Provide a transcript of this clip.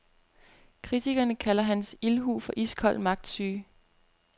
Kritikerne kalder hans ildhu for iskold magtsyge.